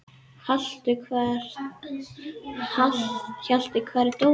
Hjalti, hvar er dótið mitt?